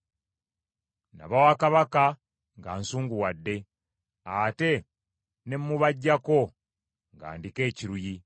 Nabawa kabaka nga nsunguwadde, ate ne mmubaggyako nga ndiko ekiruyi.